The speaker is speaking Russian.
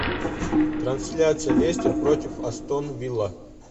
трансляция лестер против астон вилла